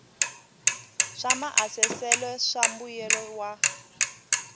swa maasesele swa mbuyelo wa